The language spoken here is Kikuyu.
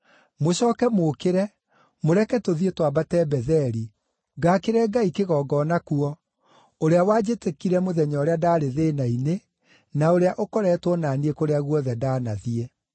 Mũcooke mũũkĩre, mũreke tũthiĩ twambate Betheli, ngaakĩre Ngai kĩgongona kuo, ũrĩa wanjĩtĩkire mũthenya ũrĩa ndaarĩ thĩĩna-inĩ, na ũrĩa ũkoretwo na niĩ kũrĩa guothe ndanathiĩ.”